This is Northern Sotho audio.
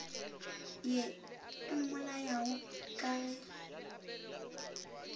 ye e mmolayago ka ge